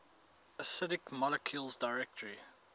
acidic molecules directly